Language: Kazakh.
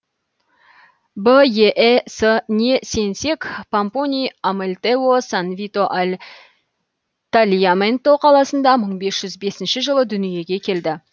беэс не сенсек помпоний амальтео сан вито аль тальяменто қаласында мың бес жүз бесінші жылы дүниеге келді